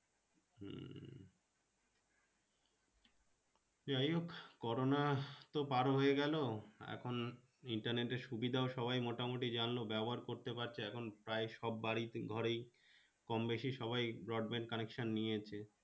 যাই হোক করোনা তো পার হয়ে গেল এখন Internet এর সুবিধা সবাই মোটামুটি জানলো ব্যাবহার করতে পারছে এখন প্রায় সব বাড়ি ঘরে কম বেশি সবাই Broadband connection নিয়েছে।